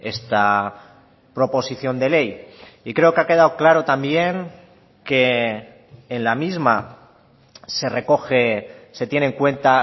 esta proposición de ley y creo que ha quedado claro también que en la misma se recoge se tiene en cuenta